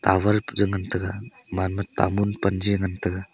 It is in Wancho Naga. tower bu chu ngantaga manma tamun pan ji ngan taga.